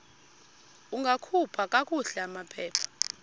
ungakhupha kakuhle amaphepha